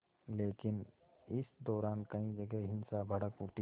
लेकिन इस दौरान कई जगह हिंसा भड़क उठी